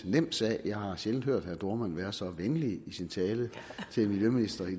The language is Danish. nem sag jeg har sjældent hørt herre jørn dohrmann være så venlig i sin tale til miljøministeren